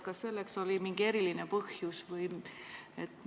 Kas selleks oli mingi eriline põhjus?